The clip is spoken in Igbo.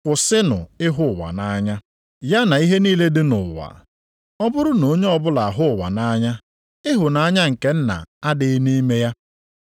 Kwụsịnụ ịhụ ụwa nʼanya, ya na ihe niile dị nʼụwa. Ọ bụrụ na onye ọbụla ahụ ụwa nʼanya ịhụnanya nke Nna adịghị nʼime ya.